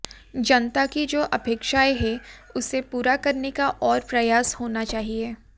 जनता की जो अपेक्षाएं है उसे पूरा करने का और प्रयास होना चाहिए